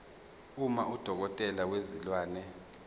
uma udokotela wezilwane